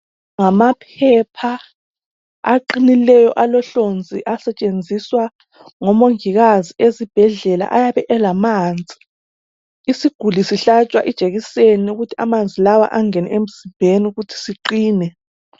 Ngamaphepha aqinileyo, alohlonzi. Asetshenziswa ngomongikazi esibhedlela. Ayabe elamanzi. Isiguli sihlatshwa ijekiseni ukuze amanzi la angene emzimbeni. Ukuthi siqine.